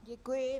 Děkuji.